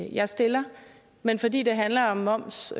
jeg stiller men fordi det handler om moms